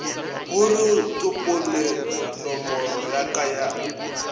goreo tsopolenomoro ya ka ya